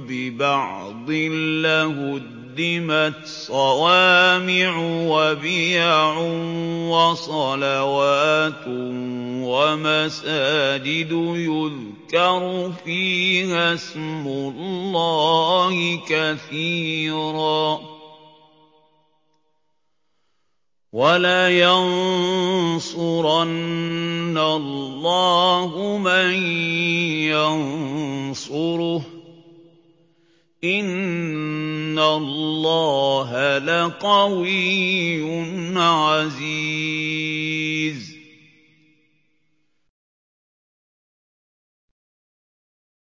بِبَعْضٍ لَّهُدِّمَتْ صَوَامِعُ وَبِيَعٌ وَصَلَوَاتٌ وَمَسَاجِدُ يُذْكَرُ فِيهَا اسْمُ اللَّهِ كَثِيرًا ۗ وَلَيَنصُرَنَّ اللَّهُ مَن يَنصُرُهُ ۗ إِنَّ اللَّهَ لَقَوِيٌّ عَزِيزٌ